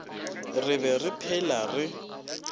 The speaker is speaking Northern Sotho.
re be re phela re